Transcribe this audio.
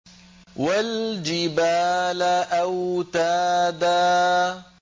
وَالْجِبَالَ أَوْتَادًا